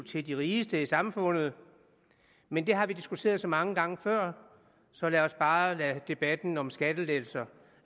til de rigeste i samfundet men det har vi diskuteret så mange gange før så lad os bare lade debatten om skattelettelser